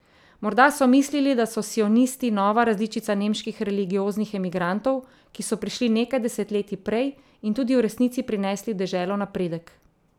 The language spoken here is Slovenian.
Morda so mislili, da so sionisti nova različica nemških religioznih emigrantov, ki so prišli nekaj desetletij prej in tudi v resnici prinesli v deželo napredek.